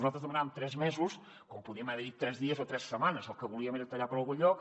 nosaltres demanàvem tres mesos com podíem haver dit tres dies o tres setmanes el que volíem era tallar per algun lloc